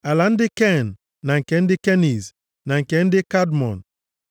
Ala ndị Ken, na nke ndị Keniz, na nke ndị Kadmọn,